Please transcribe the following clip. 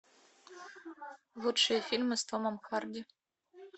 лучшие фильмы с томом харди